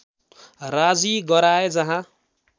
राजी गराए जहाँ